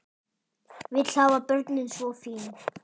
Vill hafa börnin svo fín.